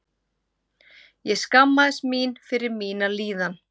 Ég skammaðist mín fyrir mína líðan!